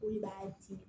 O de b'a di